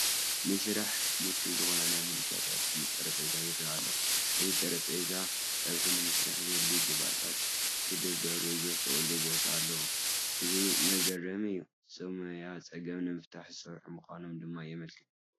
ንስራሕ ምቹው ዝኾነ ናይ ምድጃታት ጠረጴዛ ይርአ ኣሎ፡፡ እዚ ጠረጴዛ ፀብሒ ንምስራሕ ዘድልዩ ግብኣታት ክድርደሩ ዝኽእሉሉ ቦታ ኣለዎ፡፡ እዚ መግሪሚ እዩ፡፡ ሰብ ሞያ ፀገም ንምስራሕ ዝሰርሑ ምዃኖም ድማ የምልክት፡፡